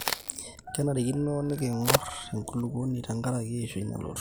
kenarikino niking'or enkulupuoni tenkaraki eishoi nalotu